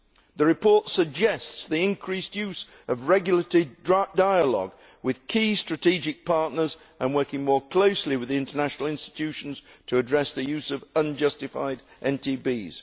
The report suggests the increased use of regulatory dialogue with key strategic partners and working more closely with the international institutions to address the use of unjustified NTBs.